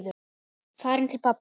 Farin til pabba.